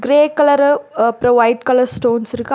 Grey colour அப்புறம் white colour stones இருக்கு அ.